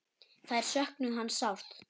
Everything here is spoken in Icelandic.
Þær söknuðu hans sárt.